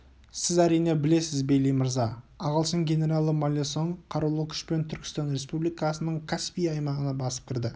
сіз әрине білесіз бейли мырза ағылшын генералы маллесон қарулы күшпен түркістан республикасының каспий аймағына басып кірді